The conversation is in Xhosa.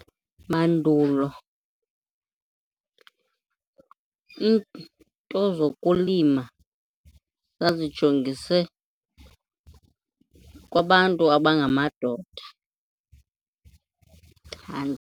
Mandulo iinto zokulima zazijongise kwabantu abangamadoda